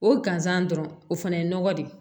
O gansan dɔrɔn o fana ye nɔgɔ de ye